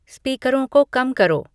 स्पीकरों को कम करो